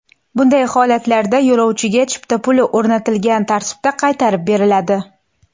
Bunday holatlarda yo‘lovchiga chipta puli o‘rnatilgan tartibda qaytarib beriladi.